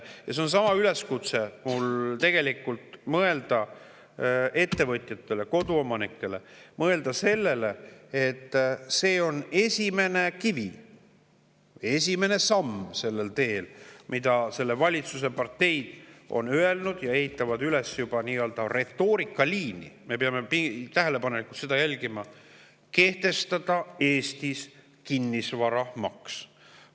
Mul on tegelikult ettevõtjatele ja koduomanikele üleskutse mõelda sellele, et see on sellel teel esimene kivi, esimene samm, mille see valitsuspartei on välja öelnud, ja nad ehitavad juba üles nii-öelda retoorikaliini – me peame seda tähelepanelikult jälgima –, et kehtestada Eestis kinnisvaramaks.